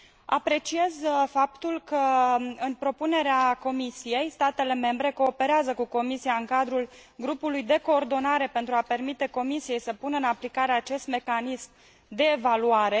Apreciez faptul că, în propunerea Comisiei, statele membre cooperează cu aceasta în cadrul grupului de coordonare, pentru a permite Comisiei să pună în aplicare acest mecanism de evaluare